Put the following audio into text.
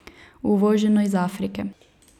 Uvoženo iz Afrike.